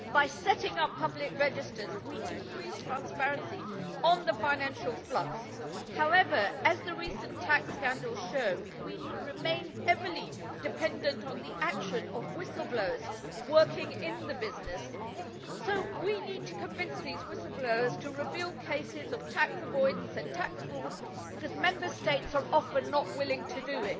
By setting up public registers we increase transparency on the financial flux. However, as the recent tax scandals show, we remain heavily dependent on the action of whistleblowers working in the business, so we need to convince these whistleblowers to reveal cases of tax avoidance and tax fraud, because Member States are often not willing to do